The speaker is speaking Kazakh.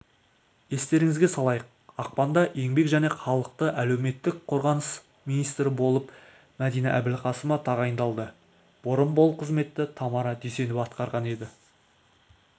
естеріңізге салайық ақпанда еңбек және халықты әлеуметтік қорғау министрі болып мәдина әбілқасымова тағайындалды бұрын бұл қызметті тамара дүйсенова атқарған еді